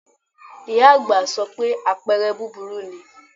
Ìyá àgbà sọ pé àpẹrẹ búburú ni